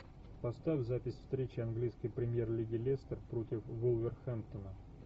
поставь запись встречи английской премьер лиги лестер против вулверхэмптона